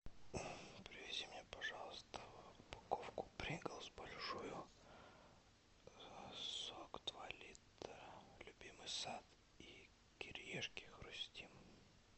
привези мне пожалуйста упаковку принглс большую сок два литра любимый сад и кириешки хрустим